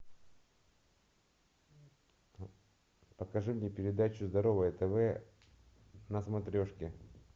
покажи мне передачу здоровое тв на смотрешке